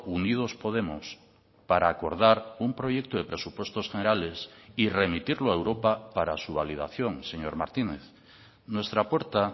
unidos podemos para acordar un proyecto de presupuestos generales y remitirlo a europa para su validación señor martínez nuestra puerta